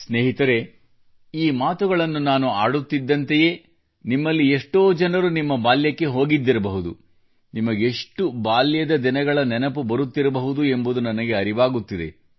ಸ್ನೇಹಿತರೇ ಈ ಮಾತುಗಳನ್ನು ನಾನು ಆಡುತ್ತಿದ್ದಂತೆಯೇ ನಿಮ್ಮಲ್ಲಿ ಎಷ್ಟೋ ಜನರು ನಿಮ್ಮ ಬಾಲ್ಯಕ್ಕೆ ಹೋಗಿದ್ದಿರಬಹುದು ನಿಮಗೆಷ್ಟು ಬಾಲ್ಯದ ದಿನಗಳ ನೆನಪು ಬರುತ್ತಿರಬಹುದು ಎಂಬುದು ನನಗೆ ಅರಿವಾಗುತ್ತಿದೆ